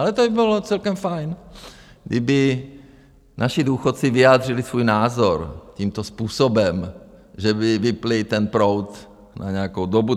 Ale to by bylo celkem fajn, kdyby naši důchodci vyjádřili svůj názor tímto způsobem, že by vypnuli ten proud na nějakou dobu.